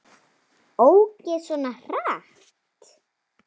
Ók ég svona hratt?